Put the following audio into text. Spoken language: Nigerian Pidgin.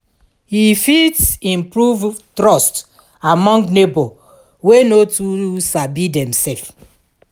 e fit improve trust among neibor wey no too sabi demself.